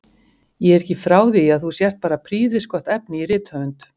Ég er ekki frá því að þú sért bara prýðisgott efni í rithöfund!